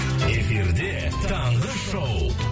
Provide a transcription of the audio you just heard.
эфирде таңғы шоу